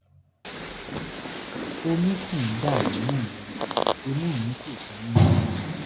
omi ṣì ń dà nímú mi imú mi sì tún ún yún mi